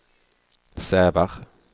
Sävar